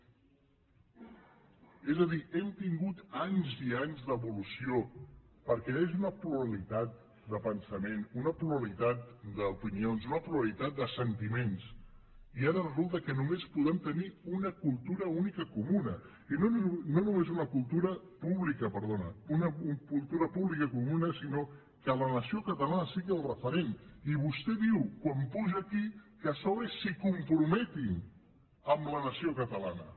és a dir hem tingut anys i anys d’evolució perquè hi hagi una pluralitat de pensament una pluralitat d’opinions una pluralitat de sentiments i ara resulta que només podem tenir una cultura pública comuna i no només una cultura pública comuna sinó que la nació catalana sigui el referent i vostè diu quan puja aquí que a sobre s’hi comprometin amb la nació catalana